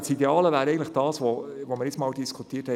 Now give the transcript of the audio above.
Wir haben das neulich in der Fraktion diskutiert: